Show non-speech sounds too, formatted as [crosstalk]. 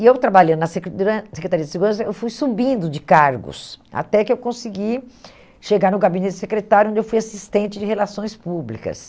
E eu trabalhando na [unintelligible] Secretaria de Segurança, eu fui subindo de cargos, até que eu consegui chegar no gabinete secretário, onde eu fui assistente de relações públicas.